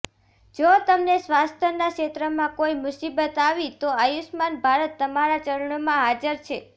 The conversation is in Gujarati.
જો તમને સ્વાસ્થ્યના ક્ષેત્રમાં કોઇ મુસીબત આવી તો આયુષ્યમાન ભારત તમારા ચરણોમાં હાજર છે